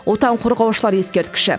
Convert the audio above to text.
отан қорғаушылар ескерткіші